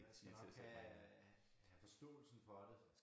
Man skal nok have forståelsen for det